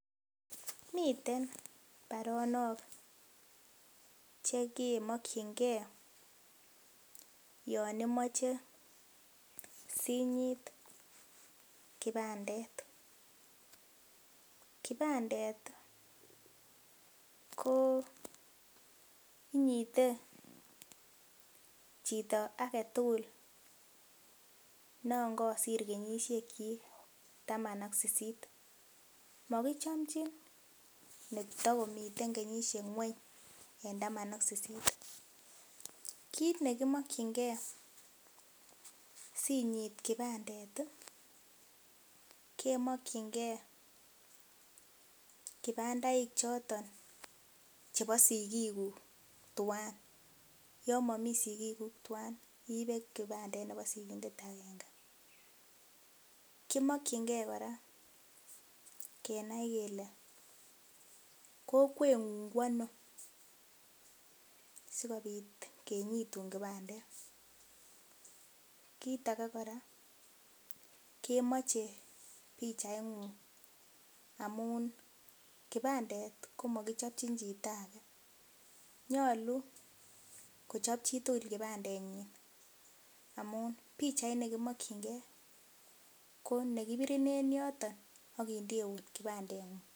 Miten baronok che ke mokyin ke yon imoche si nyit kibandet, kibandet koo inyite chito agetugul nono kosir kenyisiekyik kenyisiet taman ak sisit, mokichomnjin netokomiten kenyisiek kweny en taman ak sisit ,kit nekimokyingee si inyit kibandet ii, kemokyingee kibandaik choton chebo sigikuk tuwan ,yon momii sigikuk tuwan, iibe kibandet ne bo sigindet agenge, kimokyingee kora kenai kele kokweng'ung kwonoo sikobit kinyitun kibandet ,kit age kora kemoche pichaingung amun kibandet komokichopchin chito age nyolu kochop chitugul kibandenyin, amun pichait nekimokyinge ko nekibirin en yoton akindeun kibandeng'ung.